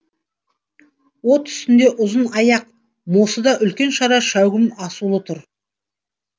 от үстінде ұзын аяқ мосыда үлкен қара шәугім асулы тұр